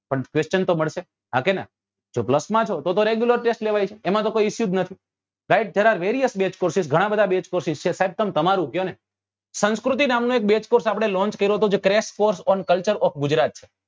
પણ question તો મળશે હા કે નાં જો plus છો તો તો regular test લેવાય છે એમાં તો કોઈ issue જ નથી guys જરા various base courses ગણા બધા base courses છે સાહેબ તમે તમારું જ કયો ને સંસ્કૃતિ નામ નો એક base course આપડે launch કર્યો હતો જે crack post on cultuere of Gujarat છે